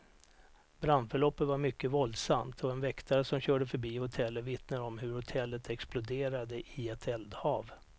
Brandförloppet var mycket våldsamt, och en väktare som körde förbi hotellet vittnar om hur hotellet exploderade i ett eldhav.